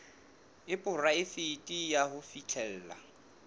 e poraefete ya ho fihlella